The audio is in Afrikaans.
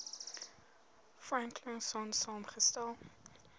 franklin sonn saamgestel